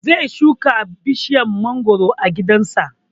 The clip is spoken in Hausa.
Zai shuka bishiyar mangoro a gidan sa